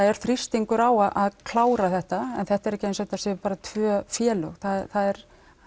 er þrýstingur á að að klára þetta en þetta er ekki eins og þetta séu bara tvö félög það er